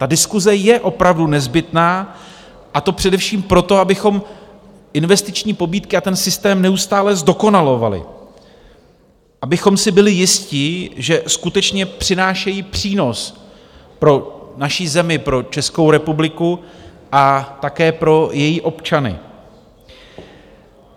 Ta diskuse je opravdu nezbytná, a to především proto, abychom investiční pobídky a ten systém neustále zdokonalovali, abychom si byli jisti, že skutečně přinášejí přínos pro naši zemi, pro Českou republiku a také pro její občany.